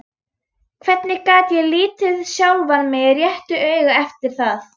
Hvernig gat ég litið sjálfan mig réttu auga eftir það?